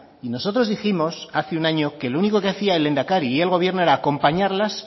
y nosotros dijimos hace un año que lo único que hacia el lehendakari y el gobierno era acompañarlas